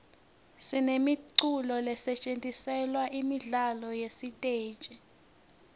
sinemiculo lesetjentiselwa imidlalo yesiteji